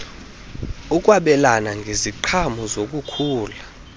ukwabelana ngeziqhamo zokukhula